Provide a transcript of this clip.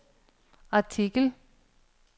artikel